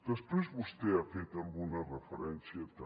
després vostè hi ha fet alguna referència també